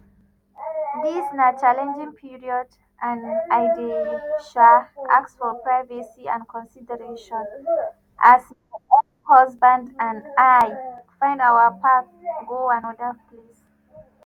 “dis na challenging period and i dey um ask for privacy and consideration as my ex-husband and i) find our own path go anoda place.